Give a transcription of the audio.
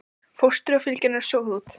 Fóstrið og fylgjan eru soguð út.